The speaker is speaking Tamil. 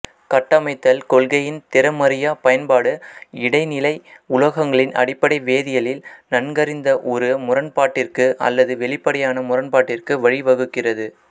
கட்டமைத்தல் கொள்கையின் திறமறியா பயன்பாடு இடைனிலை உலோகங்களின் அடிப்படை வேதியலில் நன்கறிந்த ஒரு முரண்பாட்டிற்கு அல்லது வெளிப்படையான முரண்பாட்டிற்கு வழிவகுக்கிறது